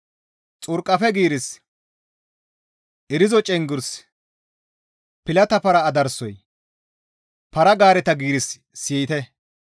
Xurqafe giirissi, irizo cenggurssi, pilata para adaraasoy, para-gaareta giirissi siyettides.